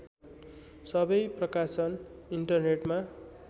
सबै प्रकाशन इन्टरनेटमा